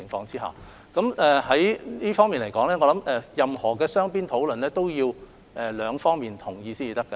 就討論而言，我相信任何雙邊討論都要雙方同意才可落實。